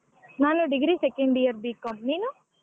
ನಾನು degree second year B.Com ನೀನು?